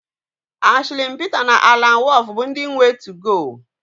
Ashli Pita na Alan Wolf bụ ndị nwe 2go